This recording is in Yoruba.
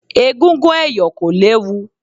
Egúngún ẹ̀yọ̀ kò léwu.